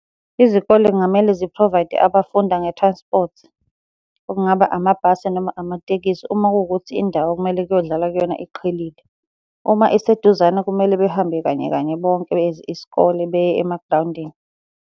Izikole kungamele zi-provide-e abafunda nge-transport, okungaba amabhasi noma amatekisi. Uma kuwukuthi indawo okumele kuyodlalwa kuyona iqhelile. Uma iseduzane kumele behambe kanye kanye bonke as isikole beye emagrawundini.